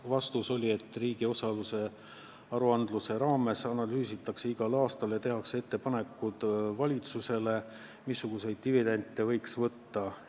Vastus: riigi osaluste aruandluse raames analüüsitakse igal aastal ja tehakse ettepanekud valitsusele, missuguseid dividende võiks võtta.